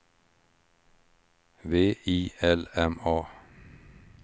V I L M A